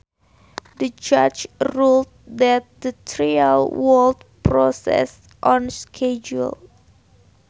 The judge ruled that the trial would proceed on schedule